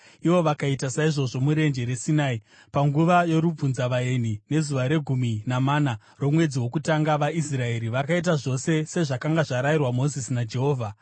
ivo vakaita saizvozvo murenje reSinai panguva yorubvunzavaeni nezuva regumi namana romwedzi wokutanga. VaIsraeri vakaita zvose sezvakanga zvarayirwa Mozisi naJehovha.